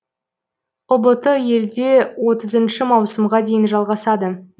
ұбт елде отызыншы маусымға дейін жалғасады